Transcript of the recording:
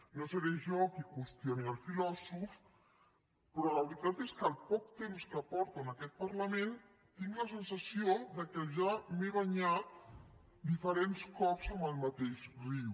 no seré jo qui qüestioni el filòsof però la veritat és que el poc temps que porto en aquest parlament tinc la sensació que ja m’he banyat diferents cops en el mateix riu